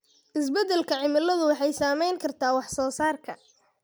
Isbeddelka cimiladu waxay saameyn kartaa wax soo saarka.